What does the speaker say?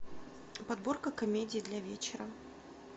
подборка комедий для вечера